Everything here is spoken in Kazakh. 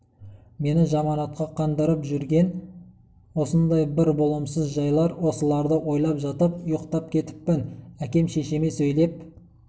мені жаманатқа қондырып жүрген осындай бір болымсыз жайлар осыларды ойлап жатып ұйықтап кетіппін әкем шешеме сөйлеп